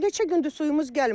Neçə gündür suyumuz gəlmir.